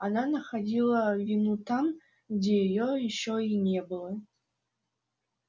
она находила вину там где её ещё и не было